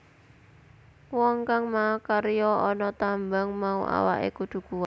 Wong kang makarya ana tambang mau awake kudu kuwat